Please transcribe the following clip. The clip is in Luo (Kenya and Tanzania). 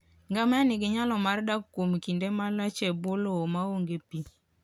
Ngamia nigi nyalo mar dak kuom kinde malach e bwo lowo maonge pi.